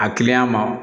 A kiliyan ma